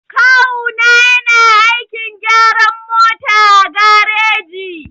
Kawu na yana aikin gyaran mota a gareji.